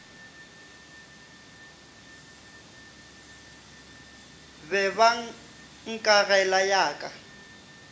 be ba nkagela ya ka